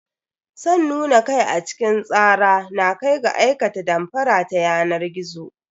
San nuna kai a cikin tsara na kai ga aikata damfara ta yanar gizo.